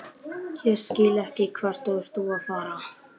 Og þá hafði Abba hin heldur ekki getað borðað.